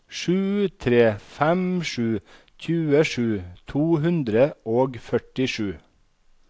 sju tre fem sju tjuesju to hundre og førtisju